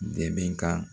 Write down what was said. Dɛmɛ ka